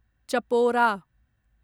Chapora